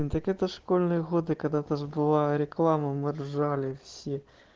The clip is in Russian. так это школьные годы когда-то же была реклама мы ржали все